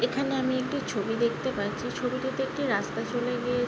এখানে আমি একটি ছবি দেখতে পাচ্ছি ছবিটিতে একটি রাস্তা চলে গিয়ে--